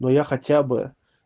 но я хотя бы